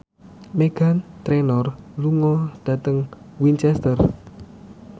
Meghan Trainor lunga dhateng Winchester